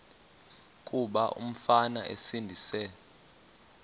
kuba umfana esindise